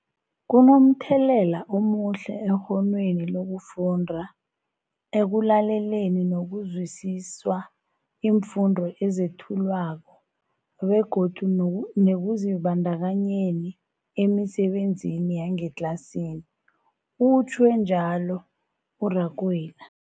Kunomthelela omuhle ekghonweni lokufunda, ekulaleleni nokuzwisiswa iimfundo ezethulwako begodu nekuzibandakanyeni emisebenzini yangetlasini, utjhwe njalo uRakwena.